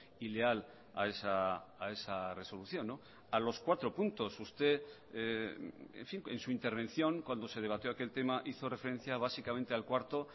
y leal a esa resolución a los cuatro puntos usted en su intervención cuando se debatió aquel tema hizo referencia básicamente al cuarto